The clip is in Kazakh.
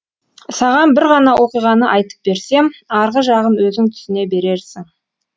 саған бір ғана оқиғаны айтып берсем арғы жағын өзің түсіне берерсің